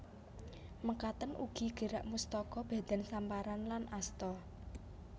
Mekaten ugi gerak mustaka badan samparan lan asta